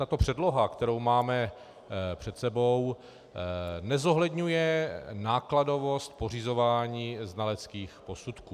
Tato předloha, kterou máme před sebou, nezohledňuje nákladovost pořizování znaleckých posudků.